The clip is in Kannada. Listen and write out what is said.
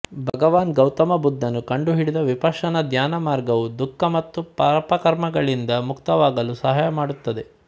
ಭಗವಾನ್ ಗೌತಮ ಬುದ್ಧನು ಕಂಡು ಹಿಡಿದ ವಿಪಶ್ಶನ ಧ್ಯಾನ ಮಾರ್ಗವು ದುಃಖ ಮತ್ತು ಪಾಪಕರ್ಮಗಳಿಂದ ಮುಕ್ತವಾಗಲು ಸಹಾಯ ಮಾಡುತ್ತದೆ